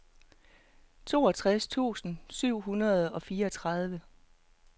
toogtres tusind syv hundrede og fireogtredive